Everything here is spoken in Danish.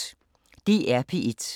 DR P1